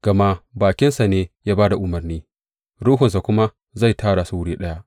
Gama bakinsa ne ya ba da umarni, Ruhunsa kuma zai tara su wuri ɗaya.